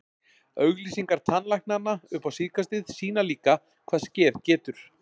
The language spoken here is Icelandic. Auglýsingar tannlæknanna upp á síðkastið sýna líka, hvað skeð getur.